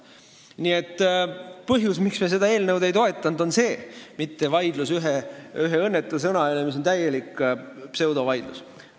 Nii et põhjus, miks me seda eelnõu ei toetanud, ei ole mitte vaidlus ühe õnnetu sõna üle, sest see on täielik pseudovaidlus.